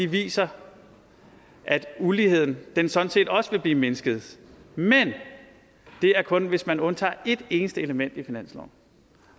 viser at uligheden sådan set også vil blive mindsket men det er kun hvis man undtager et eneste element i finansloven